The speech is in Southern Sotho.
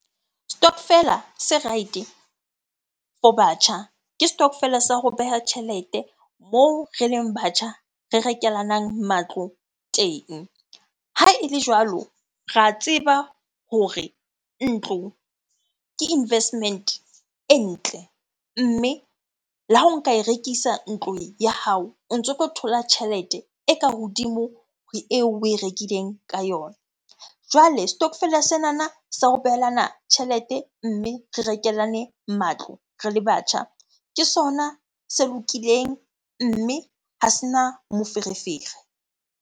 Stokvel a se right-e for batjha. Ke stokvel sa ho beha tjhelete moo re leng batjha re rekelanang matlo teng. Ha ele jwalo ra tseba hore ntlo ke investment e ntle. Mme le ha o nka e rekisa ntlong ya hao, o ntso tlo thola tjhelete e ka hodimo ho eo oe rekileng ka yona. Jwale stokvel-a senana sa ho behelana tjhelete, mme re rekelane matlo re le batjha, ke sona se lokileng mme ha sena moferefere.